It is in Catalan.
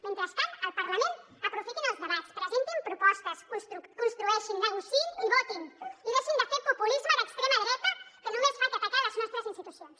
mentrestant al parlament aprofitin els debats presentin propostes construeixin negociïn i votin i deixin de fer populisme d’extrema dreta que només fa que atacar les nostres institucions